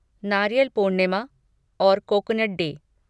नारियल पूर्णिमा और coconut day